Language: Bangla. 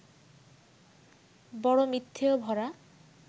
বড় মিথ্যেয় ভরা